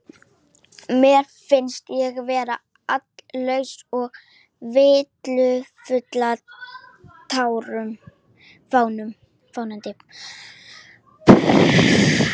Mér finnst ég vera allslaus og villuráfandi.